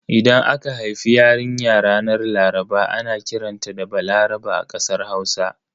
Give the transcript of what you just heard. Idan aka haifi yarinya ranar Laraba ana kiranta da 'Balaraba' a kasar Hausa.